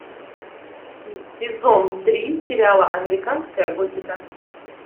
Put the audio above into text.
сезон три сериала американская готика